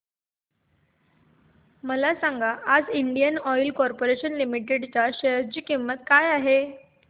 मला सांगा आज इंडियन ऑइल कॉर्पोरेशन लिमिटेड च्या शेअर ची किंमत काय आहे